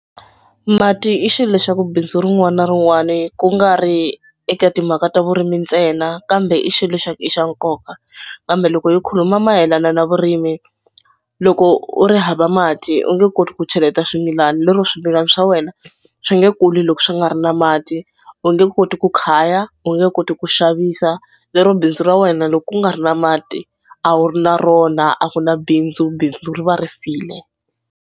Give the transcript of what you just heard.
Mati i xilo xa ku bindzu rin'wana na rin'wana ku nga ri eka timhaka ta vurimi ntsena kambe i xilo xa ku i xa nkoka kambe loko hi khuluma mayelana na vurimi loko u ri hava mati u nge koti ku cheleta swimilana. Lero swimilana swa wena swi nge kuli loko swi nga ri na mati u nge koti ku khaya, u nge koti ku xavisa. Lero bindzu ra wena loko ku nga ri na mati a wu ri na rona a ku na bindzu bindzu ri va ri file.